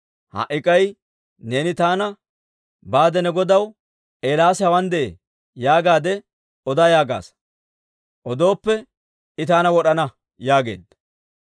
Ha"i k'ay neeni taana, Baade ne godaw, ‹Eelaasi hawaan de'ee› yaagaadde oda yaagaasa. Odooppe I taana wod'ana» yaageedda.